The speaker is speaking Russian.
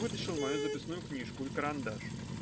вытащил мою записную книжку и карандаш